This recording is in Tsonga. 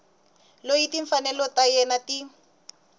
loyi timfanelo ta yena ti